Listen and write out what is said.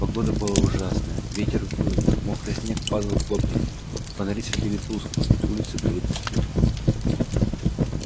погода была ужасная ветер выл мокрый снег падал хлопьями фонари светили тускло улицы были пусты